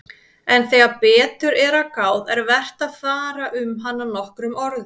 En þegar betur er að gáð er vert að fara um hana nokkrum orðum.